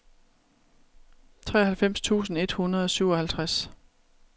treoghalvfems tusind et hundrede og syvoghalvtreds